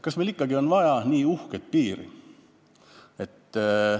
Kas meil ikkagi on vaja nii uhket piiri?